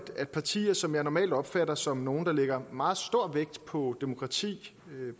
at partier som jeg normalt opfatter som nogle der lægger meget stor vægt på demokrati